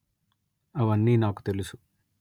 అవన్నీ నాకు తెలుసు